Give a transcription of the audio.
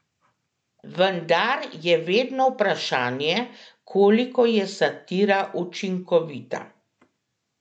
Vendar je vedno vprašanje, koliko je satira učinkovita.